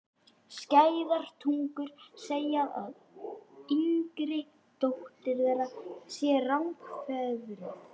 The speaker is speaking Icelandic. Skæðar tungur segja að yngri dóttir þeirra sé rangfeðruð.